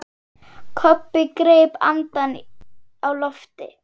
Kobbi greip andann á lofti.